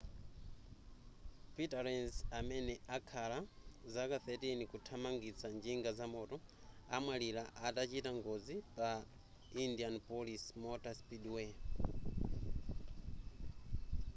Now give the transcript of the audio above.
peter lenz amene akhala zaka 13 kuthamangitsa njinga zamoto amwalira atachita ngozi pa indianapolis motor speedway